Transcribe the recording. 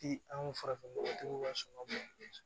Ti an farafin nɔgɔtigiw ka sɔn ka bɔ